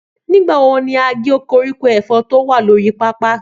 Nígbàwo ní a gé koríko efòn tí o wà lórí pápá